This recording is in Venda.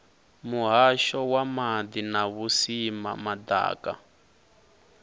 muhasho wa maḓi na vhusimama ḓaka